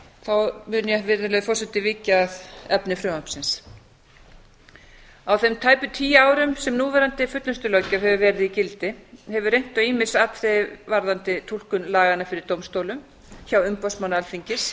þá mun ég virðulegi forseti víkja að efni frumvarpsins á þeim tæpu tíu árum sem núverandi fullnustulöggjöf hefur verið í gildi hefur reynt á ýmis atriði varðandi túlkun laganna fyrir dómstólum hjá umboðsmanni alþingis